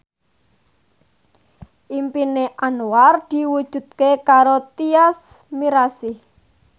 impine Anwar diwujudke karo Tyas Mirasih